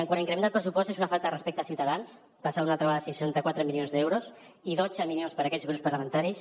quant a increment del pressupost és una falta de respecte als ciutadans passar una altra vegada a seixanta quatre milions d’euros i dotze milions per a aquells grups parlamentaris